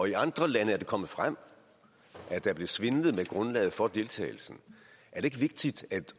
i andre lande er det kommet frem at der blev svindlet med grundlaget for deltagelsen er det ikke vigtigt at